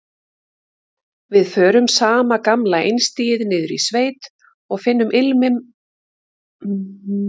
Við förum sama gamla einstigið niður í sveit og finnum ilminn af kolum og kjöti.